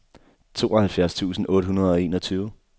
tooghalvfjerds tusind otte hundrede og enogtyve